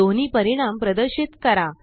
दोन्हीपरिणाम प्रदर्शित करा